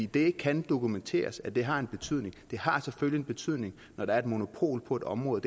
det kan dokumenteres at det har en betydning det har selvfølgelig en betydning når der er et monopol på et område